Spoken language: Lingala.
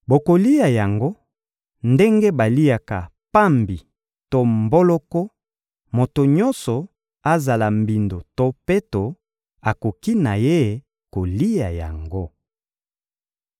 Bokolia yango ndenge baliaka pambi to mboloko; moto nyonso, azala mbindo to peto, akoki na ye kolia yango.